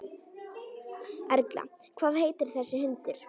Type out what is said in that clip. Erla: Hvað heitir þessi hundur?